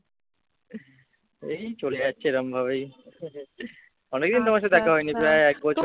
এই চলে যাচ্ছে এরকমভাবেই। অনেকদিন তোমার সাথে দেখা হয়নি প্রায় এক বছর